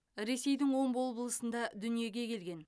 ресейдің омбы облысында дүниеге келген